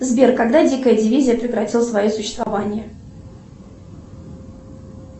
сбер когда дикая дивизия прекратила свое существование